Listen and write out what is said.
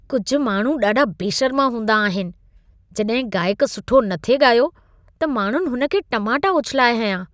कुझु माण्हू ॾाढा बेशर्मा हूंदा आहिनि। जॾहिं गाइक सुठो न थे ॻायो, त माण्हुनि हुन ते टमाटा उछिलाए हंयां।